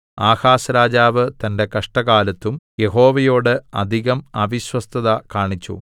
Ahaz രാജാവ് തന്റെ കഷ്ടകാലത്തും യഹോവയോട് അധികം അവിശ്വസ്തത കാണിച്ചു